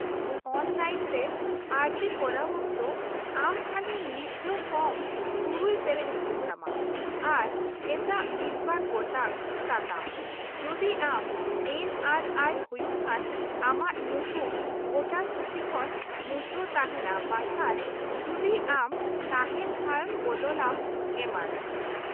-ᱚᱱᱞᱟᱭᱤᱱᱨᱮ ᱟᱨᱡᱤ ᱠᱚᱨᱟᱣ ᱚᱠᱛᱚ, ᱟᱢ ᱠᱷᱟᱹᱞᱤ ᱢᱤᱫ ᱫᱷᱟᱣ ᱯᱷᱚᱨᱢ ᱖ ᱯᱮᱨᱮᱡ ᱦᱩᱭᱩᱜ ᱛᱟᱢᱟ, ᱟᱨ ᱮᱴᱟᱜ ᱢᱤᱫ ᱵᱟᱨ ᱜᱚᱴᱟᱝ ᱥᱟᱛᱟᱢ, ᱡᱩᱫᱤ ᱟᱢ ᱮᱱ ᱹ ᱟᱨ ᱹ ᱟᱭ ᱹ ᱦᱩᱭᱩᱜ ᱠᱷᱟᱱ , ᱟᱢᱟᱜ ᱧᱩᱛᱩᱢ ᱵᱷᱳᱴᱟᱨ ᱥᱩᱪᱤ ᱠᱷᱚᱱ ᱢᱩᱪᱷᱟᱹᱣ ᱛᱟᱦᱮᱱᱟ ᱵᱟᱝᱠᱷᱟᱱ ᱡᱩᱫᱤ ᱟᱢ ᱛᱟᱦᱮᱱ ᱴᱷᱟᱣ ᱮᱢ ᱵᱚᱫᱚᱞ ᱟᱢ, ᱮᱢᱟᱱ ᱾